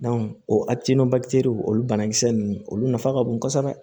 o olu banakisɛ ninnu olu nafa ka bon kosɛbɛ